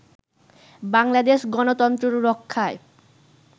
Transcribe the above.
বাংলাদেশ গনতন্ত্র রক্ষায়